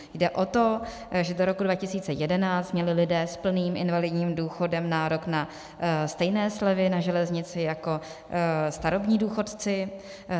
Jde o to, že do roku 2011 měli lidé s plným invalidním důchodem nárok na stejné slevy na železnici jako starobní důchodci.